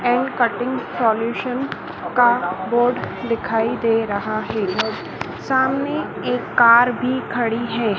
And cutting solution का board दिखाई दे रहा है सामने एक कार भी खड़ी है।